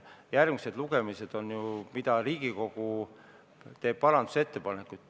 Järgmised lugemised on ju need, kui Riigikogu teeb parandusettepanekuid.